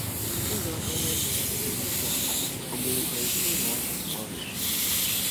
Ịdọ aka ná ntị siri ike a ò mere ka ezinụlọ ahụ gbanwee?